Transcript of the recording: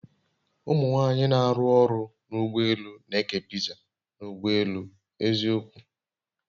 Umụ nwanyị n'arụ ọrụ n'ụgbọ elù n'eke piza n'ụgbọ elù, eziokwu!